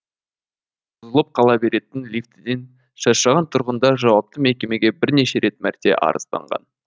бұзылып қала беретін лифтіден шаршаған тұрғындар жауапты мекемеге бірнеше рет мәрте арызданған